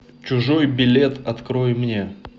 чужой билет открой мне